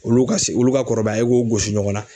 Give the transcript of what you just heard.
Olu ka se olu ka kɔrɔbaya i k'u gosi ɲɔgɔn na.